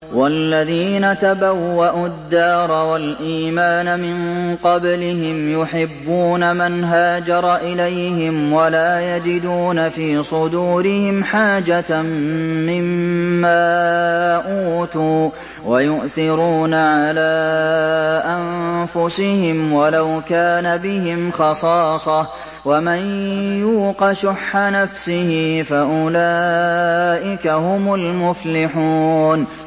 وَالَّذِينَ تَبَوَّءُوا الدَّارَ وَالْإِيمَانَ مِن قَبْلِهِمْ يُحِبُّونَ مَنْ هَاجَرَ إِلَيْهِمْ وَلَا يَجِدُونَ فِي صُدُورِهِمْ حَاجَةً مِّمَّا أُوتُوا وَيُؤْثِرُونَ عَلَىٰ أَنفُسِهِمْ وَلَوْ كَانَ بِهِمْ خَصَاصَةٌ ۚ وَمَن يُوقَ شُحَّ نَفْسِهِ فَأُولَٰئِكَ هُمُ الْمُفْلِحُونَ